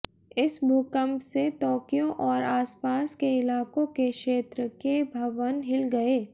इस भूकंप से तोक्यो और आसपास के इलाकों के क्षेत्र के भवन हिल गए